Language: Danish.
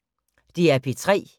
DR P3